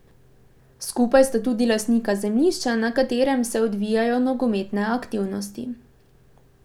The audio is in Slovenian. Skupaj sta tudi lastnika zemljišča, na katerem se odvijajo nogometne aktivnosti.